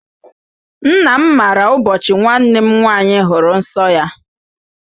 Nna m maara ụbọchị nwanne m nwaanyị hụrụ nsọ ya.